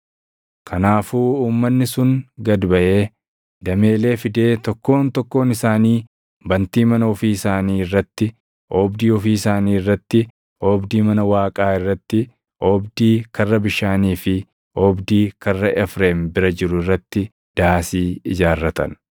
Kanaafuu uummanni sun gad baʼee dameelee fidee tokkoon tokkoon isaanii bantii mana ofii isaanii irratti, oobdii ofii isaanii irratti, oobdii mana Waaqaa irratti, oobdii Karra Bishaanii fi oobdii Karra Efreem bira jiru irratti daasii ijaarratan.